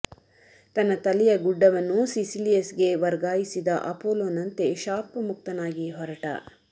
ತನ್ನ ತಲೆಯ ಗುಡ್ಡವನ್ನು ಸಿಸಿಲಿಯಸ್ಗೆ ವರ್ಗಾಯಿಸಿದ ಅಪೋಲೊ ನಂತೆ ಶಾಪಮುಕ್ತನಾಗಿ ಹೊರಟ